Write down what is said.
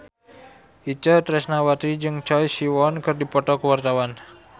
Itje Tresnawati jeung Choi Siwon keur dipoto ku wartawan